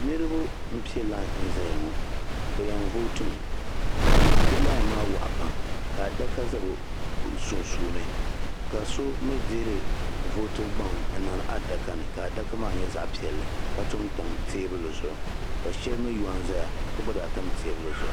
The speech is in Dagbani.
Niriba n pɛ lai zaya ŋɔ be yan vooti mi bi lai maa waɣa pam ka adaka za bi sunsuuni ka so mi dihiri vootibu gbaŋ n niŋdi adaka ni ka adaka maa nyɛ zaɣa piɛli ka tom tam teebuli zuɣu ka shɛli mi yo n zaya gba zaa tam teebuli zuɣu.